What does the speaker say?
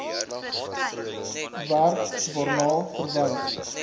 werk waarna verwys